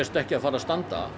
ekki að fara að standa